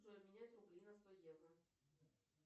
джой обменять рубли на сто евро